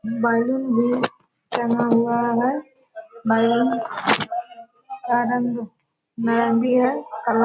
balloon भी टंगा हुआ है बैलून का रंग नारंगी है --